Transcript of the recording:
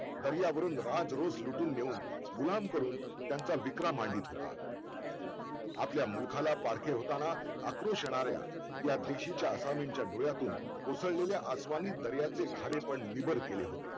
दारिया वरून राज रोज लुटून घेऊन गुलाम करून त्यांचा विक्रा मांडीत होता आपल्या मुलखाला पारखे होणाऱ्या आक्रोश येणाऱ्या त्या देशीच्या असामींच्या डोळ्यातून उसळलेल्या अश्वातूनी दारियाचे खारे पण निबर केले होते